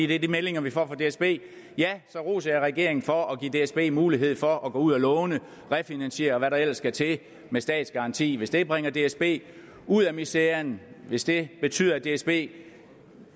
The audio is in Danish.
det er de meldinger vi får fra dsb så roser jeg regeringen for at give dsb mulighed for at gå ud at låne refinansiere og hvad der ellers skal til med statsgaranti hvis det bringer dsb ud af miseren hvis det betyder at dsb